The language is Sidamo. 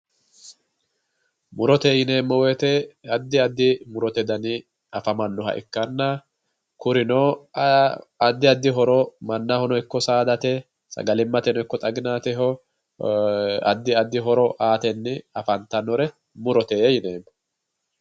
Murote yineemmo woyte addi addi muro danni afamanoha ikkanna kurino addi addi horo mannahono ikko saadate sagalimateno ikko xaginateho addi addi horo aatenni afantanore murote yineemmo.